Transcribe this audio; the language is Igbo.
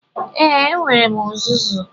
Ee, enwere m uzuzu.